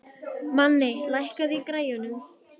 Manni, lækkaðu í græjunum.